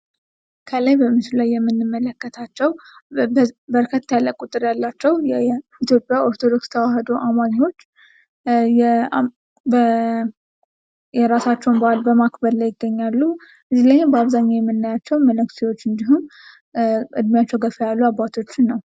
ከላይ በምስሉ ላይ የምንመለከታቸው በርከት ያለ ቁጥር ያላቸው የኢትዮጵያ ኦርቶዶክስ ተዋህዶ አማኞች የራሳቸውን በአል በማክበር ላይ ይገኛሉ። እዚህ ላይም በአብኛው የምናያቸው መነኩሴዎች ወይም ደግሞ እድሜያቸው ገፋ ያሉ አባቶችን ነው።